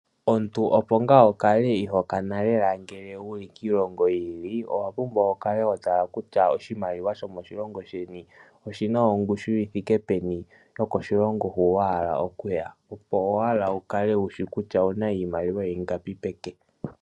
Omuntu opo nga wukale ihokana lela ngele wuli kiilongo yili owapumbwa wukale hotala kutya oshimaliwa shomo shikongo sheni oshina ongushi yithike peni no koshilongo hu wahala okuya, Opo wukale wushi kutya owuna iimaliwa ingapi peke.